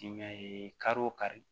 kari o kari